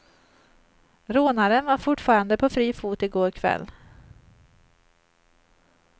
Rånaren var fortfarande på fri fot i går kväll.